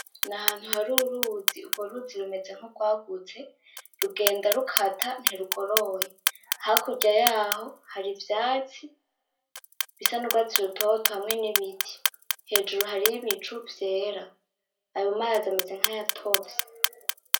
Nahantu hari uruzi , urwo ruzi rumeze nkurwagutse rugenda rukata ntirugoroye, hakurya yaho hari ivyatsi bisa nurwatsi rutoto hamwe nibiti, hejuru hariho ibicu vyera ayomazi ameze nkayatovye .